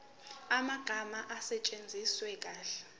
amagama asetshenziswe kahle